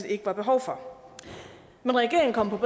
ikke var behov for men regeringen kom på